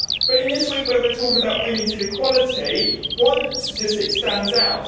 But in this week when we are talking about women's inequality, one statistic stands out.